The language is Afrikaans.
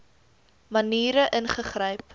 maniere ingegryp